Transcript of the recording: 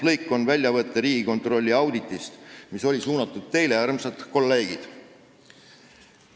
See oli väljavõte Riigikontrolli auditist, mis oli mõeldud teile, armsad kolleegid.